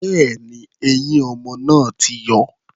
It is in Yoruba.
Bẹ́ẹ̀ni, eyín ọmọ náà ti yọ.